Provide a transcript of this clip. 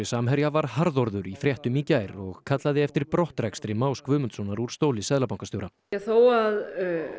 Samherja var harðorður í fréttum í gær og kallaði eftir brottrekstri Más Guðmundssonar úr stóli seðlabankastjóra þó að